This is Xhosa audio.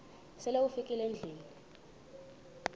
sele ufikile endlwini